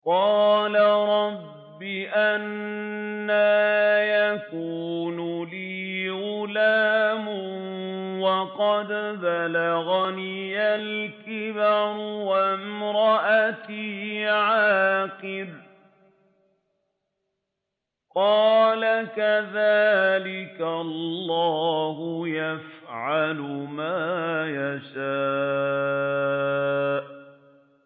قَالَ رَبِّ أَنَّىٰ يَكُونُ لِي غُلَامٌ وَقَدْ بَلَغَنِيَ الْكِبَرُ وَامْرَأَتِي عَاقِرٌ ۖ قَالَ كَذَٰلِكَ اللَّهُ يَفْعَلُ مَا يَشَاءُ